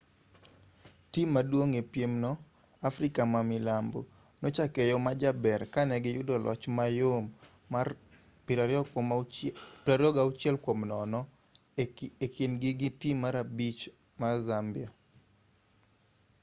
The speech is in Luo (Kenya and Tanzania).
tim maduong' e piem no afrika ma milambo nochake e yo majaber ka ne giyudo loch mayom mar 26-00 e kindgi gi tim mar abich zambia